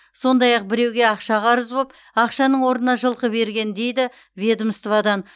сондай ақ біреуге ақша қарыз болып ақшаның орнына жылқы берген дейді ведомстводан